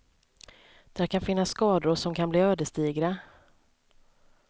Där kan finnas skador som kan bli ödesdigra.